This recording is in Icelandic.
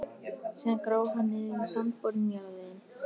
Síðan gróf hann niður í sandborinn jarðveginn.